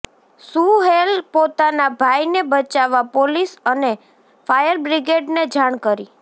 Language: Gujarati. સુહેલ પોતાના ભાઈને બચાવવા પોલીસ અને ફાયરબ્રિગેડને જાણ કરી